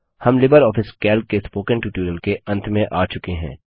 हम LibreOffice Calc के spoken tutorial के अंत में आ चुके हैं